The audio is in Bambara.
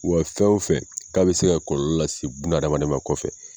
Wa fɛn o fɛ k'a bɛ se ka bɛ se ka kɔlɔlɔ lase bunadamaden ma kɔfɛ.